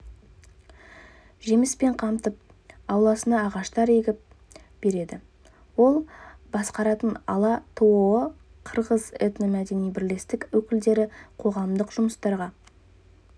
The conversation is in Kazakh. жеміспен қамтып ауласына ағаштар егіп береді ол басқаратын ала-тоо қырғыз этно-мәдени бірлестік өкілдері қоғамдық жұмыстарға